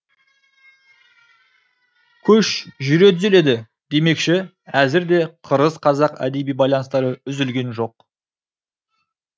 көш жүре түзеледі демекші әзір де қырғыз қазақ әдеби байланыстары үзілген жоқ